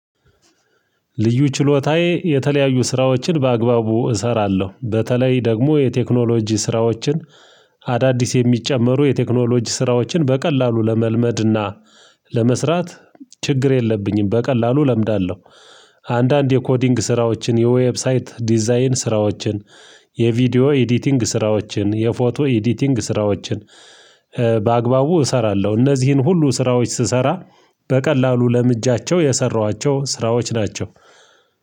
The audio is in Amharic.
ልዩ ችሎታዬ የተለያዩ ስራዎችን በአግባቡ እሰራለሁ በተለይ ደግሞ የቴክኖሎጂ ስራዎችን አዳዲስ የሚጨመሩ የቴክኖሎጂ ስራዎችን በቀላሉ ለመልመድና ለመስራት ችግር የለብኝም በቀላሉ እለምዳለሁ። አንዳንድ የኮዲንግ ስራዎችን የዌብሳይት ዲዛይን ስራዎችን የቪዲዮ ኤዲቲንግ ስራዎችን የፎቶ ኤዲቲንግ ስራዎችን። በአግባቡ እሰራለሁ እነዚህን ሁሉ ስራዎች ስሰራ በቀላሉ ለምጃቸው የሰሯቸው ስራዎች ናቸው